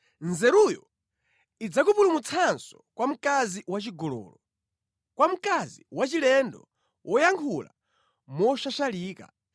Nzeruyo idzakupulumutsanso kwa mkazi wachigololo; kwa mkazi wachilendo woyankhula moshashalika,